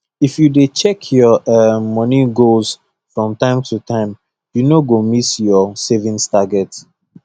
if you dey check your um money goals from time to time you no go miss your savings target